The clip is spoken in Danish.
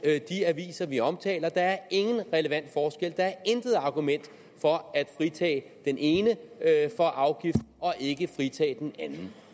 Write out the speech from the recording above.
de aviser vi omtaler der er intet argument for at fritage den ene for afgift og ikke fritage den anden